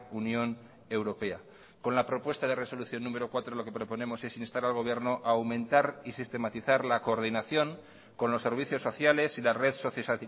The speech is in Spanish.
unión europea con la propuesta de resolución número cuatro lo que proponemos es instar al gobierno a aumentar y sistematizar la coordinación con los servicios sociales y la red socio